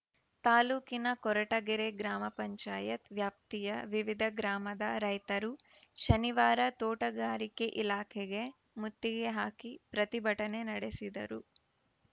ತಾಲೂಕಿನ ಕೊರಟಗೆರೆ ಗ್ರಾಮ ಪಂಚಾಯತ್ ವ್ಯಾಪ್ತಿಯ ವಿವಿಧ ಗ್ರಾಮದ ರೈತರು ಶನಿವಾರ ತೋಟಗಾರಿಕೆ ಇಲಾಖೆಗೆ ಮುತ್ತಿಗೆ ಹಾಕಿ ಪ್ರತಿಭಟನೆ ನಡೆಸಿದರು